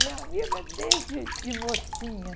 Minha amiga desde de mocinha.